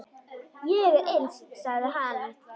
Ég er eins, sagði hann.